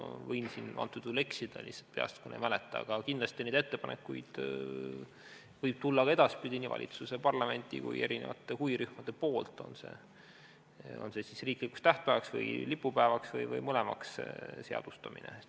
Ma võin siin eksida, lihtsalt peast ei mäleta, aga kindlasti neid ettepanekuid võib tulla ka edaspidi nii valitsuse, parlamendi kui ka huvirühmade poolt, on see siis riikliku tähtpäeva või lipupäeva või mõlemana seadustamine.